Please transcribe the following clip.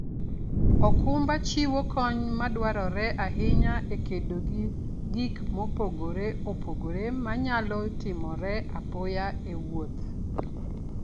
okumba chiwo kony madwarore ahinya e kedo gi gik mopogore opogore manyalo timore apoya e wuoth.